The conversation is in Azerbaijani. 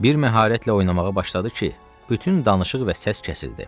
Bir məharətlə oynamağa başladı ki, bütün danışıq və səs kəsildi.